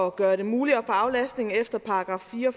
at gøre det muligt at få aflastning efter § fire og